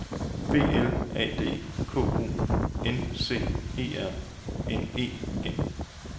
B L A D K O N C E R N E N